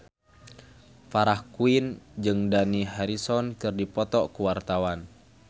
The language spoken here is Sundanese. Farah Quinn jeung Dani Harrison keur dipoto ku wartawan